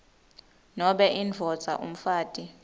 nobe indvodza umfati